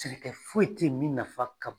Sɛnɛkɛ foyi tɛ ye min nafa ka